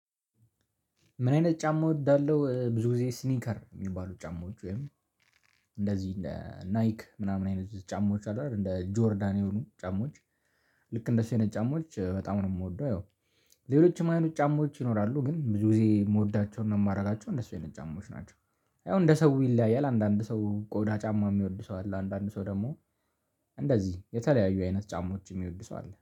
ምን አይነት ጫማ እወዳለሁ ብዙ ጊዜ ስኒከር የሚባሉ ጫማዎች ወይም እንደዚህ ናይክ ምናምን አይነት ጫማዎች አይሉ አይደል እንደ ጆርዳን የሆኑ ጫማዎች። ልክ እንደሱ አይነት ጫማዎች በጣም ነው የምወደው። ይኸው ሌሎችም አይኑት ጫማዎች ይኖራሉ ግን ብዙ ጊዜ የምወዳቸውና የማደርጋቸው እንደሱ አይነት ጫማዎች ናቸው። ያው እንደ ሰው ይለያያል አንዳንድ ሰው ቆዳ ጫማ የሚወድ ሰው አለ። አንዳንድ ሰው ደግሞ እንደዚህ የተለያዩ አይነት ጫማዎች የሚወድሰው አለ